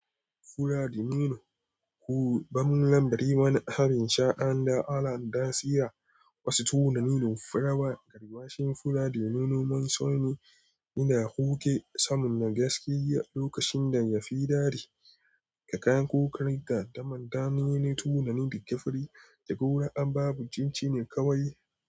Fura da nono, kuma lambari wani abin sha an da ala'anta tsira. Wasu tunanin furawa, garma shine fura da nono. Mansoni ina huke samun gaske lokacin da yafi daɗi da kayan kokari da daman damina tunanin da gafari da gora. An babu cin cinikawai.